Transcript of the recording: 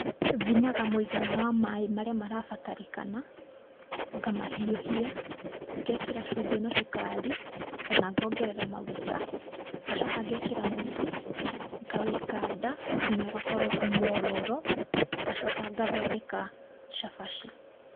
Thimaga mũigana wa maĩ marĩa marabatarĩkana, ngamahiũhia, ngekĩra cumbĩ na cukari, ona ngongerera maguta, ngacoka ngekĩra mũtu, ngawĩkanda nginya ũgakorwo mwororo, ngacoka ngathondeka cabaci.